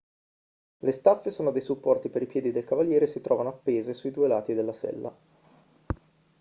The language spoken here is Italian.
le staffe sono dei supporti per i piedi del cavaliere e si trovano appese sui due lati della sella